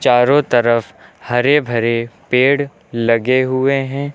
चारों तरफ हरे भरे पेड़ लगे हुए हैं।